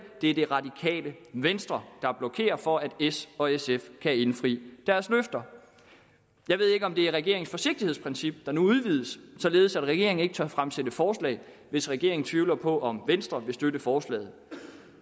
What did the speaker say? det er det radikale venstre der blokerer for at s og sf kan indfri deres løfter jeg ved ikke om det er regeringens forsigtighedsprincip der nu udvides således at regeringen ikke tør fremsætte forslag hvis regeringen tvivler på om venstre vil støtte forslagene